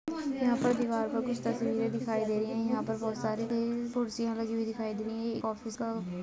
यहां पर दिवाल कुछ तस्वीरें दिखाई दे रही है यहां पर बहुत सारी कुर्सी दिखाई दे रही है और एक ऑफिस का--